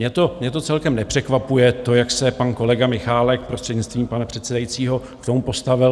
Mě to celkem nepřekvapuje, to, jak se pan kolega Michálek, prostřednictvím pana předsedajícího, k tomu postavil.